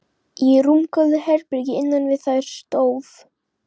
Í rúmgóðu herbergi innan við þær stóð